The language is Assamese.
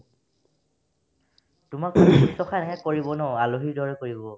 তোমাক শুশ্ৰূষাহে কৰিব ন আলহীৰ দৰে কৰিব